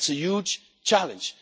That is a huge challenge.